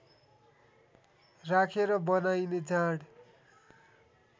राखेर बनाइने जाँड